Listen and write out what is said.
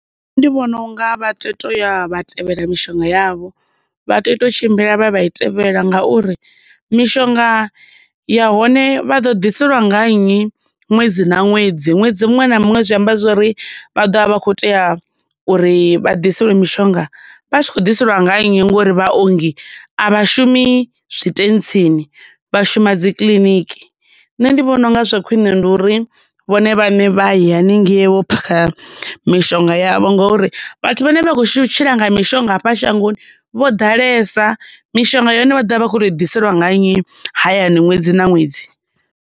ndi vhona unga vha tea u tou ya vha tevhela mishonga yavho, vha tea u to tshimbila vha ya vha i tevhela ngauri, mishonga yahone vha ḓo ḓiseliwa nga nnyi ṅwedzi na ṅwedzi, ṅwedzi muṅwe na muṅwe zwi amba zwori vha ḓovha vha khou tea uri vha ḓiselwe mishonga, vha tshi khou ḓiselwa nga nnyi ngauri vhaongi a vhashumi zwitentsini, vha shuma dzi kiḽiniki. Nṋe ndi vhona unga zwa khwine ndi uri vhone vhaṋe vha ye haningei vho phakha mishonga yavho ngauri, vhathu vhane vha khou tshila nga mishonga hafha shangoni vho ḓalesa, mishonga ya hone vha ḓovha vha khou tou i ḓiseliwa nga nnyi hayani ṅwedzi na ṅwedzi.